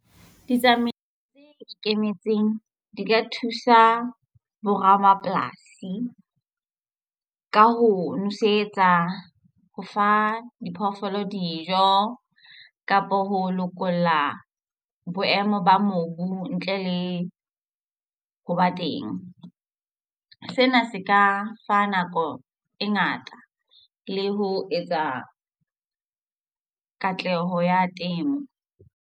Ditsamaiso tse ikemetseng di ka thusa bo ramapolasi ka ho nosetsa, ho fa diphoofolo dijo kapo ho lokolla boemo ba mobu ntle le ho ba teng. Sena se ka fa nako e ngata le ho etsa katleho ya temo.